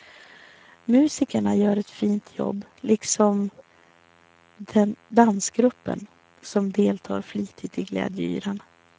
Musikerna gör ett fint jobb, liksom dansgruppen som deltar flitigt i glädjeyran.